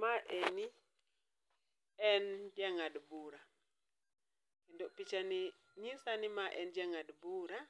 Maeni en jang'ad bura, kendo pichani nyisa ni en ja ng'ad bura